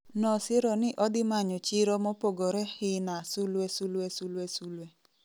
nosiro ni odhimanyo chiro mopogore hina****